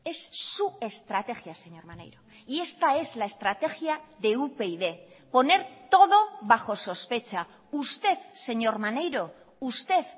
es su estrategia señor maneiro y esta es la estrategia de upyd poner todo bajo sospecha usted señor maneiro usted